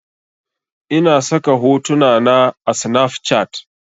Ina saka hotuna na a snafcat